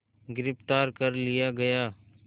गिरफ़्तार कर लिया गया